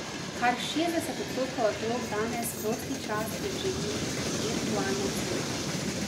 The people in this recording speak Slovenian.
Kar šestdeset odstotkov otrok danes prosti čas preživi v virtualnem svetu.